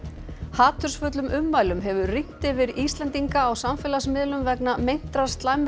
hatursfullum ummælum hefur rignt yfir Íslendinga á samfélagsmiðlum vegna meintrar slæmrar